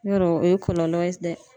Yɔrɔ o ye kɔlɔlɔ ye dɛ.